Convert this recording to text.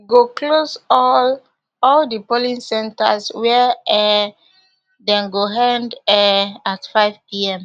go close all all di polling centres wia um dem go end um at fivepm